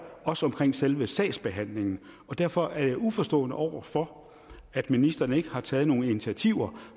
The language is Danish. også omkring selve sagsbehandlingen og derfor er jeg uforstående over for at ministeren ikke har taget nogen initiativer